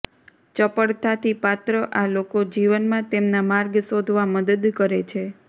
ચપળતાથી પાત્ર આ લોકો જીવનમાં તેમના માર્ગ શોધવા મદદ કરે છે